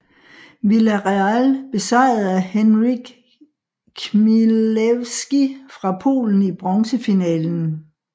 Villareal besejrede Henryk Chmielewski fra Polen i bronsefinalen